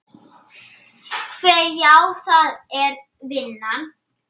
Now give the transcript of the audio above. Hve. já, það er vinnan.